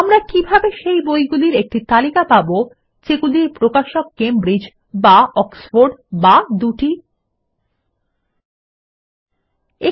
আমরা কিভাবে সেই বইগুলির একটি তালিকা পাবো যেগুলির প্রকাশক কেমব্রিজ বা অক্সফোর্ড অথবা দুটি ই160